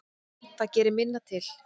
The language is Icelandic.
Það gerir minna til.